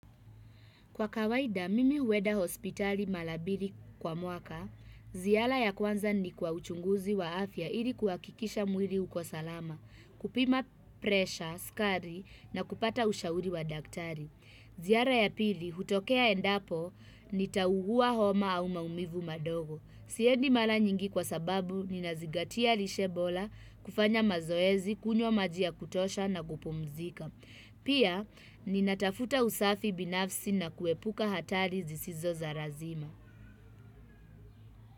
Kwa kawaida, mimi huweda hospitali mala bili kwa mwaka, ziara ya kwanza ni kwa uchunguzi wa afya ili kuakikisha mwili uko salama, kupima presha, skari na kupata ushauri wa daktari. Ziara ya pili, hutokea endapo nitahuguwa homa au maumivu madogo. Siedi mala nyingi kwa sababu, ninazigatia lishe bola, kufanya mazoezi, kunywa maji ya kutosha na kupumzika. Pia, ninatafuta usafi binafsi na kuepuka hatari zisizo za razima.